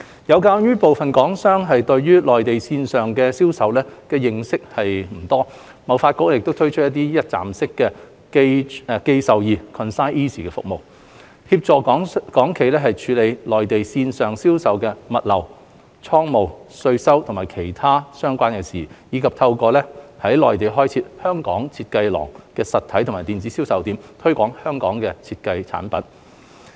有鑒於部分港商對內地線上銷售的認識不多，貿發局推出一站式"寄售易"服務，幫助港企處理內地線上銷售的物流、倉務、稅收和其他相關的事宜，以及透過在內地開設"香港.設計廊"實體及電子銷售點，推廣香港設計產品。